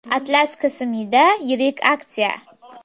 Atlas KSMida yirik aksiya!.